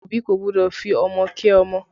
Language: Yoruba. Òbí kò gbọ́dọ̀ fi ọmọ kẹ́ ọmọ